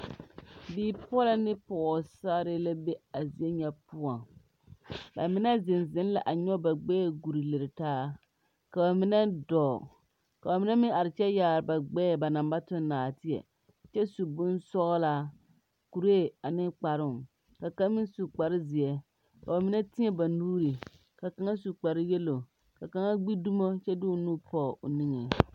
Bipɔlɔ ne pɔɔsarre la be a zie nyɛ poɔŋ ba mine zeŋ zeŋ la a nyoge ba gbɛɛ gure lire taa ka ba mine dɔɔ ka ba mine meŋ are kyɛ yaare ba gbɛɛ ba naŋ ba tuŋ naateɛ kyɛ su bonsɔglaa kuree ane kparoo ka kaŋ meŋ su kparezeɛ ka ba mine tēɛ ba nuure ka kaŋa su kpare yello ka kaŋa gbi dumo kyɛ de o nu pɔg o niŋe.